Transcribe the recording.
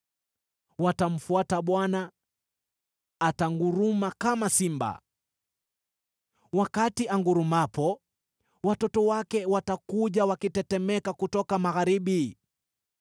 Watamfuata Bwana ; atanguruma kama simba. Wakati angurumapo, watoto wake watakuja wakitetemeka kutoka magharibi.